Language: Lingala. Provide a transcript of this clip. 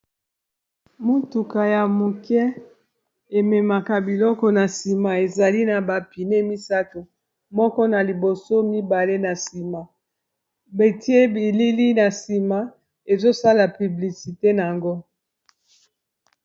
motuka ya moke ememaka biloko na sima ezali na bapine misato moko na liboso mibale na sima batie bilili na sima ezosala publicité na yango